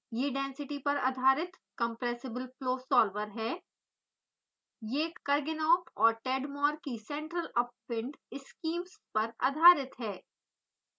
यह density घनत्व पर आधारित compressible flow solver सॉल्वर है यह kurganov और tadmor की central upwind स्कीम्स पर आधारित है